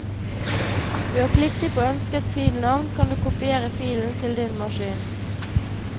Ved å klikke på ønsket filnavn kan du kopiere filen til din maskin.